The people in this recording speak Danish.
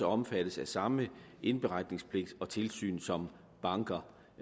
omfattes af samme indberetningspligt og tilsyn som banker